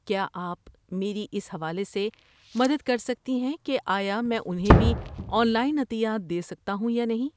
کیا آپ میری اس حوالے سے مدد کر سکتے ہیں کہ آیا میں انہیں بھی آن لائن عطیات دے سکتا ہوں یا نہیں؟